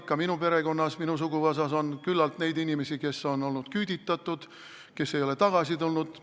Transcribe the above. Ka minu perekonnas, minu suguvõsas on küllalt neid inimesi, kes on olnud küüditatud, kes ei ole tagasi tulnud.